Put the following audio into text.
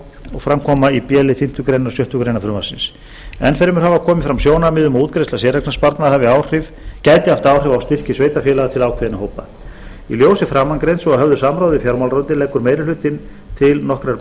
og fram koma í b lið fimmtu greinar og sjöttu greinar frumvarpsins enn fremur hafa komið fram sjónarmið um að útgreiðsla séreignarsparnaðar gæti haft áhrif á styrki sveitarfélaga til ákveðinna hópa í ljósi framangreinds og að höfðu samráði við fjármálaráðuneytið leggur meiri hlutinn til nokkrar